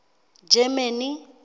germany